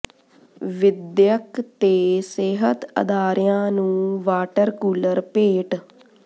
ਵਿੱ ਦਿਅਕ ਤੇ ਸਿਹਤ ਅਦਾਰਿਆਂ ਨੂੰ ਵਾਟਰ ਕੂਲਰ ਭੇਟ